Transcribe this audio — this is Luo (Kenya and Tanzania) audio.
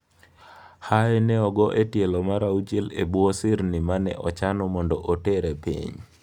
Haye ne ogo e tielo mar auchiel e bwo sirni ma ne ochano mondo otere piny.